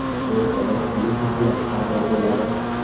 O‘rtada kuchli ziddiyat paydo bo‘ladi.